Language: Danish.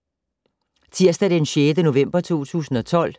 Tirsdag d. 6. november 2012